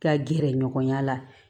Ka gɛrɛ ɲɔgɔnya la